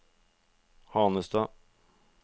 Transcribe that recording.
Hanestad